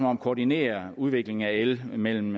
om at koordinere udviklingen af el mellem